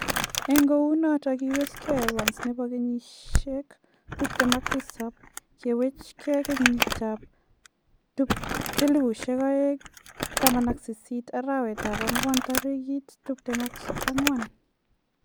En kounoton kowesei Evans nebo keyisiek 27 kiwachen keyiit ab 2018 arawet ab angwan tarigit 24.